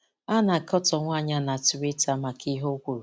A na-akọtọ nwaanyị a na Twitter maka ihe o kwuru.